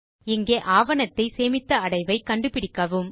இங்கே ஆவணத்தை சேமித்த அடைவை கண்டு பிடிக்கவும்